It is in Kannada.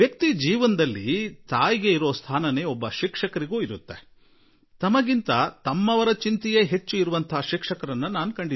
ಜೀವನದಲ್ಲಿ ತಾಯಿಗಿರುವಷ್ಟೇ ಸ್ಥಾನ ಶಿಕ್ಷಕರಿಗೂ ಇದೆ ಮತ್ತು ತಮಗಿಂತ ತಮ್ಮವರ ಚಿಂತೆ ಮಾಡುವ ಶಿಕ್ಷಕರನ್ನೂ ನಾವು ನೋಡಿದ್ದೇವೆ